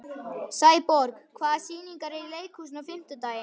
Sæborg, hvaða sýningar eru í leikhúsinu á fimmtudaginn?